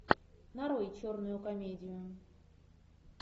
нарой черную комедию